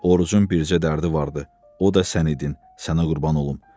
Orucun bircə dərdi vardı, o da sənin idi, sənə qurban olum.